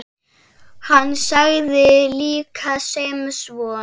Hann sagði líka sem svo